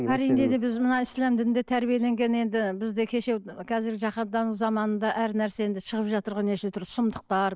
әрине де біз мына ислам дінінде тәрбиеленген енді бізде кеше қазіргі жаһандану заманында әр нәрсе енді шығып жатырған неше түрлі сұмдықтар